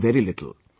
I watch very little